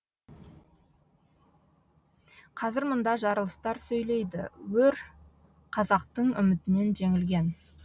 қазір мұнда жарылыстар сөйлейді өр қазақтың үмітінен жеңілген